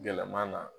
Gɛlɛman na